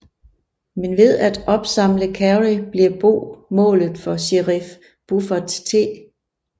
Men ved at opsamle Carrie bliver Bo målet for sherif Buford T